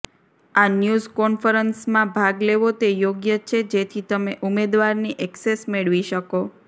આ ન્યૂઝ કોન્ફરન્સમાં ભાગ લેવો તે યોગ્ય છે જેથી તમે ઉમેદવારની ઍક્સેસ મેળવી શકો